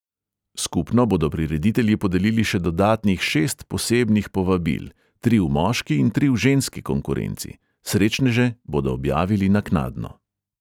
Skupno bodo prireditelji podelili še dodatnih šest posebnih povabil, tri v moški in tri v ženski konkurenci, srečneže bodo objavili naknadno.